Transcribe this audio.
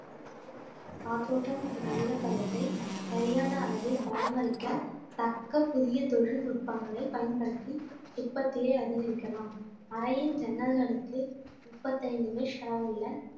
காற்றோட்டம் மற்றும் ஈரப்பதத்தை சரியான அளவில் பராமரிக்க தக்க புதிய தொழில்நுட்பங்களை பயன்படுத்தி உற்பத்தியை அதிகரிக்கலாம் அறையின் ஜன்னல்களுக்கு முப்பத்தைந்து அளவுள்ள